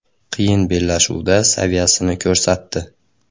Qiyin bellashuvda saviyasini ko‘rsatdi.